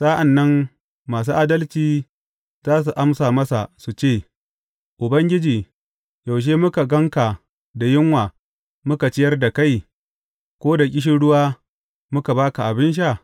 Sa’an nan masu adalci za su amsa masa, su ce, Ubangiji, yaushe muka gan ka da yunwa muka ciyar da kai, ko da ƙishirwa muka ba ka abin sha?